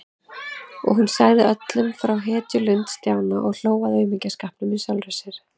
Og hún sagði öllum frá hetjulund Stjána og hló að aumingjaskapnum í sjálfri sér.